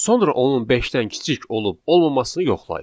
Sonra onun beşdən kiçik olub-olmamasını yoxlayır.